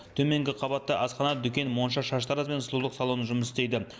төменгі қабатта асхана дүкен монша шаштараз бен сұлулық салоны жұмыс істейді